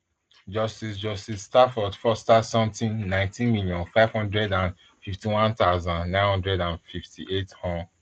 justice justice stafford foster sutton nineteen million, five hundred and fifty-one thousand, nine hundred and fifty-eight hon